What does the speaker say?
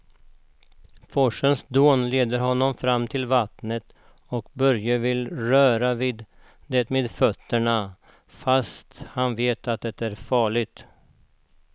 Forsens dån leder honom fram till vattnet och Börje vill röra vid det med fötterna, fast han vet att det är farligt.